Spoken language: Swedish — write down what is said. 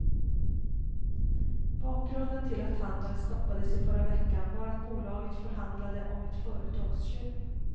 Bakgrunden till att handeln stoppades i förra veckan var att bolaget förhandlade om ett företagsköp.